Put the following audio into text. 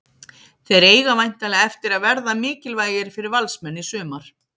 Þeir eiga væntanlega eftir að verða mikilvægir fyrir Valsmenn í sumar.